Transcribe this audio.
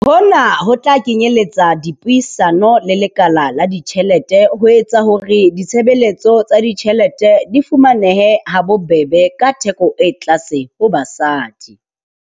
Hona ho tla kenyeletsa dipuisano le lekala la ditjhelete ho etsa hore ditshebeletso tsa ditjhelete di fumanehe ha bobebe ka theko e tlase ho basadi.